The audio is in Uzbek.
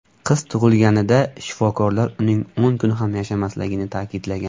Qiz tug‘ilganida shifokorlar uning o‘n kun ham yashamasligini ta’kidlagan.